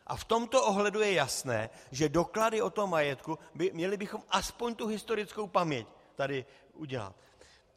A v tomto ohledu je jasné, že doklady o tom majetku - měli bychom aspoň tu historickou paměť tady udělat.